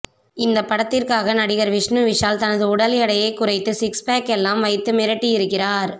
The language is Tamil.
இந்த படத்திற்காக நடிகர் விஷ்ணு விஷால் தனது உடல் எடையை குறைத்து சிக்ஸ் பேக்கெல்லாம் வைத்து மிரட்டியிருக்கிறார்